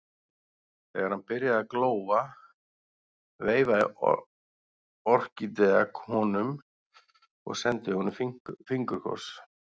Þegar hann byrjaði að glóa veifaði Orkídea honum og sendi honum fingurkoss.